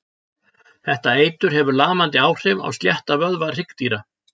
Þetta eitur hefur lamandi áhrif á slétta vöðva hryggdýra.